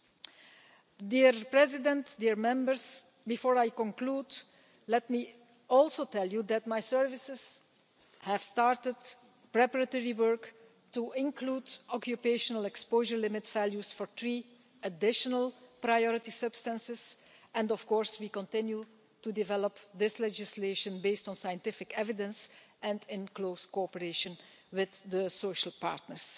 Madam President, honourable Members, before I conclude let me also tell you that my staff have started preparatory work on the inclusion of occupational exposure limit values for three additional priority substances, and, of course, we are continuing to develop this legislation on the basis of scientific evidence and in close cooperation with the social partners.